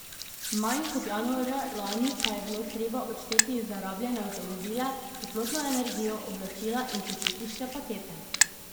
Manj kot januarja lani pa je bilo treba odšteti za rabljene avtomobile, toplotno energijo, oblačila in počitniške pakete.